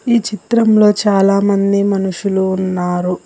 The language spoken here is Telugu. ఈ చిత్రంలో చాలా మంది మనుషులు ఉన్నారు.